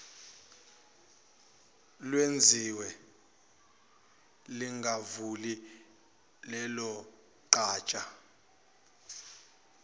lwenziwe lingavuli lelogatsha